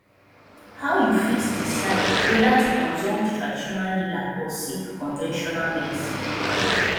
how you fit decide whether to consult traditional healer or seek conventional medicine